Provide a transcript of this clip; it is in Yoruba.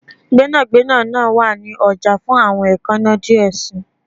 Gbẹnagbẹna naa wa ni ọja fun awọn eekanna diẹ sii